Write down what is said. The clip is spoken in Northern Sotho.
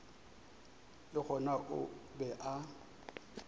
le gona o be a